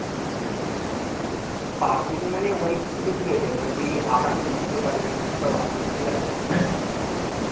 পাবজিতে মানে অনেক কিছু দিয়েছে। মানে তুই আকাশে উড়তে পারবি কি সব আছে ঠিক আছে?